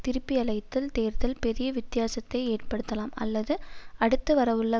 திருப்பியழைத்தல் தேர்தல் பெரிய வித்தியாசத்தை ஏற்படுத்தலாம் அல்லது அடுத்து வரவுள்ள